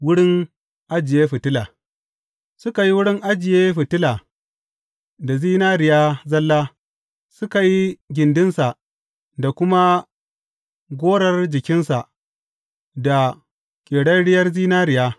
Wurin ajiye fitila Suka yi wurin ajiye fitila da zinariya zalla, suka yi gindinsa da kuma gorar jikinsa, da ƙerarriyar zinariya.